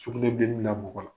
Sukunɛbilennin bila mɔgƆ la ,